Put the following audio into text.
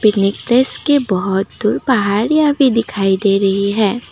के बहुत दूर पहाड़ियां भी दिखाई दे रही हैं।